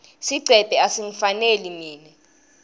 sigcebhe asingifaneli mine